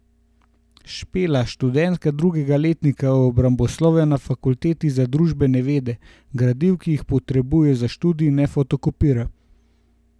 Špela, študentka drugega letnika obramboslovja na fakulteti za družbene vede, gradiv, ki jih potrebuje za študij, ne fotokopira.